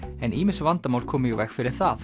en ýmis vandamál komu í veg fyrir það